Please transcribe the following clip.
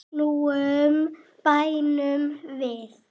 Snúum dæminu við.